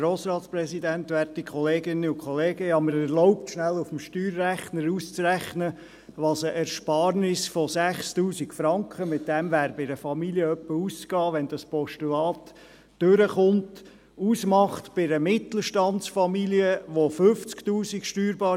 Ich habe mir erlaubt, auf dem Steuerrechner rasch auszurechnen, was ein Steuerabzug von 6000 Franken bei einer Mittelstandsfamilie, die ein steuerbares Einkommen von 50 000 Franken hat, und bei einer Familie mit einem steuerbaren Einkommen von 250 000 Franken ausmachen würde.